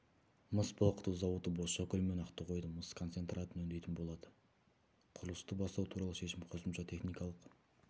мыс балқыту зауыты бозшакөл мен ақтоғайдың мыс концентратын өңдейтін болады құрылысты бастау туралы шешім қосымша техникалық